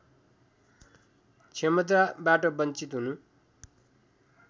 क्षमताबाट वञ्चित हुनु